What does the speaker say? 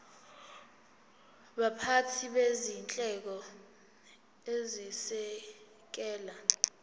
baphathi bezinhlelo ezisekela